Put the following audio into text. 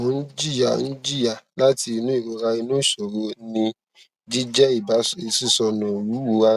mo n jiya n jiya lati inu irora inu iṣoro ni jijẹ iba sisọnu iwuwo ara